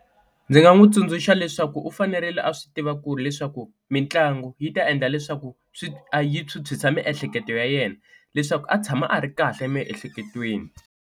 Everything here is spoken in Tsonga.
Ndzi nga n'wi tsundzuxa leswaku u fanerile a swi tiva ku ri leswaku mitlangu yi ta endla leswaku swi yi phyuphyisa miehleketo ya yena leswaku a tshama a ri kahle emiehleketweni.